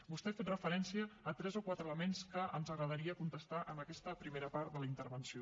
vostè ha fet referència a tres o quatre elements que ens agradaria contestar en aquesta primera part de la intervenció